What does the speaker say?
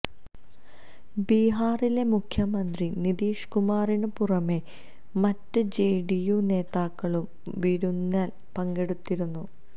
ബിഹാറിലെ മുഖ്യമന്ത്രി നിതീഷ് കുമാറിന് പുറമേ മറ്റ് ജെഡിയു നേതാക്കളും വിരുന്നില് പങ്കെടുത്തിരുന്നു